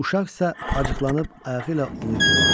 Uşaqsa acıqlanıb ayağı ilə onu itələdi.